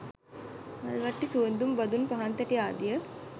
මල් වට්ටි, සුවඳ දුම් බඳුන් පහන්තැටි ආදිය